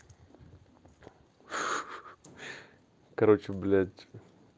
короче блять